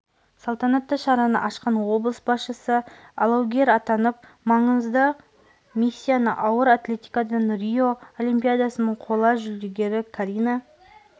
салтанатты шараны ашқан облыс басшысы алаугер атанып маңызды миссияны ауыр атлетикадан рио олимпиадасының қола жүлдегері карина